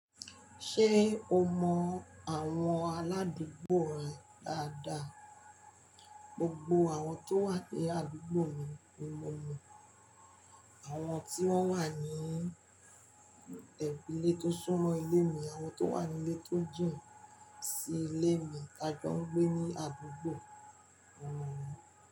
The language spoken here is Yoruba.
Ṣé o mọ àwọn aládùúgbò rẹ dáadáa? Gbogbo àwọn tó wà ní àdúgbò mi ni mo mọ̀. Awon ti won wa ile to sun mo ile mi, awon to wa ni ile to jin si ile mi ta n jo gbe ni adugbo.